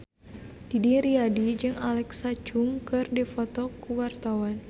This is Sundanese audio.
Didi Riyadi jeung Alexa Chung keur dipoto ku wartawan